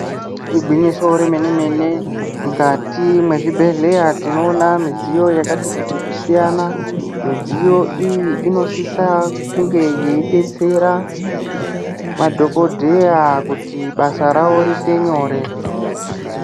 Igwinyiso remene-mene mukati mezvibhedhleya tinoona midziyo yakati kuti kusiyana. Midziyo iyi inosisa kunge yeibetsera madhogodheya kuti basa ravo riite nyore.